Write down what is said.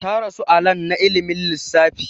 Ta rasu a lan na ilimin lissfafi